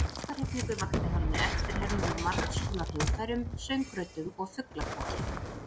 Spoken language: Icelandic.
Mesta hrifningu vakti hann með eftirhermum á margskonar hljóðfærum, söngröddum og fuglakvaki.